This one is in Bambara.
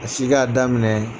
A si k'a daminɛ